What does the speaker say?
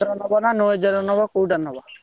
ନବ ନା ର ନବ କୋଉଟା ନବ?